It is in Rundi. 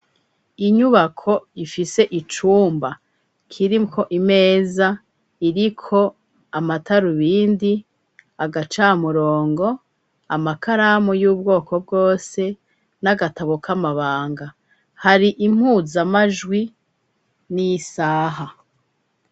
Inyubako ifise icumba kiriko imeza iriko amatarubindi, agacamurongo, amakaramu y'ubwoko bwose n'agatabo k'amabanga, hari impuzamajwi n'isaha.